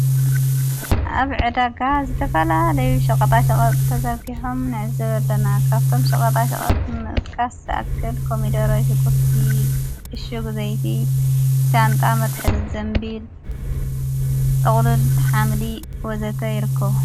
ኣብ ዕዳጋ ዘተፋላለይ ሸቐጣ ሸቐጥ ተዘርጊሖም ነዕዘበለና ካብቶም ሸቐጣ ሸቐጥ ምጥቃሰ ለኣክል ኮሚዶሮ ሽቊቲ እሽጉ ዘይቲ ሻንጣ መትሕዚ ዘንቢል ጠቕሉል ኃምሊ ወዘተ ይርክቡ።